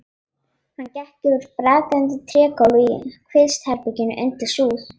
Hann gekk yfir brakandi trégólf í kvistherbergi undir súð.